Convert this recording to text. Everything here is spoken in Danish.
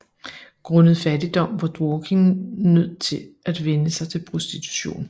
Grundet fattigdom var Dworkin nød til at vende sig til prostitution